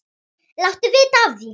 Láttu vita af því.